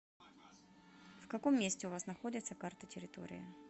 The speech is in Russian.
в каком месте у вас находится карта территории